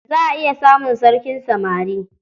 Za a iya samun sarkin samari.